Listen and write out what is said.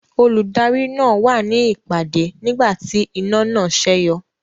Olùdarí náà wà ní ìpàdé nígbà tí iná náà sẹ́yọ.